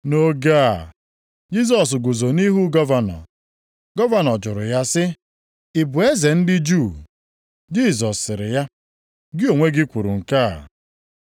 Nʼoge a Jisọs guzo nʼihu gọvanọ. Gọvanọ jụrụ ya sị, “Ị bụ eze ndị Juu?” Jisọs sịrị ya, “Gị onwe gị kwuru ya.”